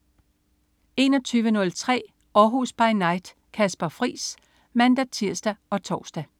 21.03 Århus By Night. Kasper Friis (man-tirs og tors)